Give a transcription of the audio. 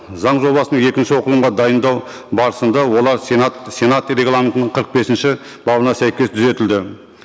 заң жобасының екінші оқылымға дайындау барысында олар сенат сенат регламентінің қырық бесінші бабына сәйкес түзетілді